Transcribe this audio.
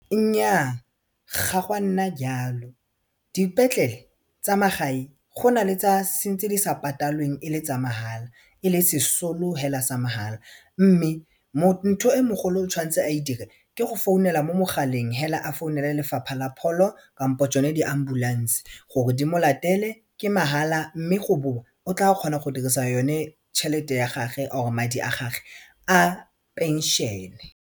Nyaa ga gwa nna jalo dipetlele tsa magae gona le tse di sa patalweng e le tsa mahala e le sesolo hela sa mahala mme mo ntho e mogolo o tshwantse a e dire ke go founela mo mogaleng hela a founela Lefapha la Pholo kampo tsone di-ambulance gore di mo latele ke mahala mme go bowa o tla kgona go dirisa yone tšhelete ya gage or madi a gage a pension-e.